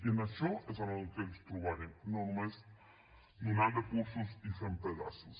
i en això és el que ens trobarem no només donant recursos i fent pedaços